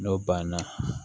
N'o banna